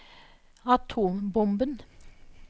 atombomben